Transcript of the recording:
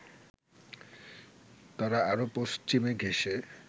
তারা আরও পশ্চিম ঘেঁষে